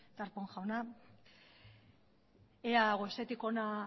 darpón jauna ea goizetik hona